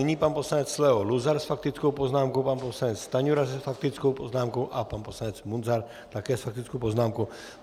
Nyní pan poslanec Leo Luzar s faktickou poznámkou, pan poslanec Stanjura s faktickou poznámkou a pan poslanec Munzar také s faktickou poznámkou.